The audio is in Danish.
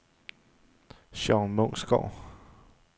Sean Munksgaard